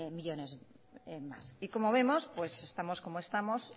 millónes más y como vemos pues estamos como estamos